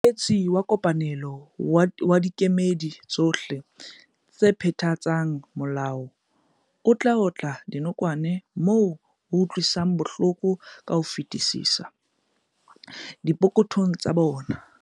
Mosebetsi wa kopanelo wa dikemedi tsohle tse phethatsang molao o otla dinokwane moo ho utlwisang bohloko ka ho fetisisa- dipokothong tsa bona.